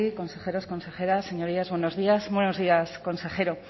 consejeros consejeras señorías buenos días buenos días consejero